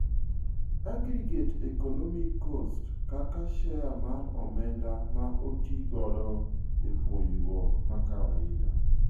Aggregate economic cost kaka share mar omend ama otiigodo e puonjruok makawaida.